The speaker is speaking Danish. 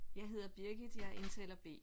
Jeg hedder Birgit jeg er indtaler B